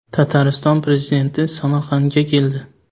Tatariston prezidenti Samarqandga keldi.